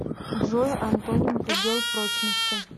джой антоним предел прочности